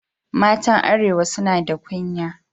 Matan arewa su na da kunya.